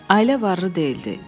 Ailə varlı deyildi.